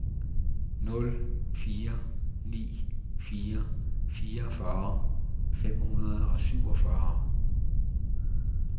nul fire ni fire fireogfyrre fem hundrede og syvogfyrre